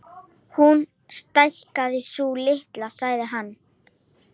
Hún stækkar, sú litla, sagði hann.